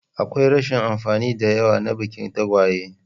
Akwai rashin amfani da yawa na bikin tagwaye.